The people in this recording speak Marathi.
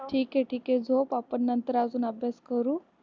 ठीक आहे ठीक आहे झोप आपण नंतर अजून अभ्यास करू.